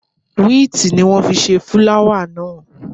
Wíìtì ni wọ́n fi ṣe fúláwà náà.